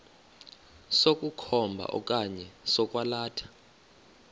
sokukhomba okanye sokwalatha